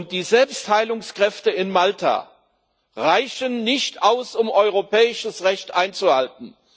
Die Selbstheilungskräfte in Malta reichen nicht aus, um europäisches Recht einzuhalten.